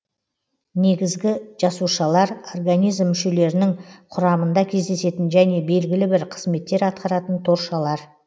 негізгі жасушалар организм мүшелерінің құрамында кездесетін және белгілі бір қызметтер атқаратын торшалар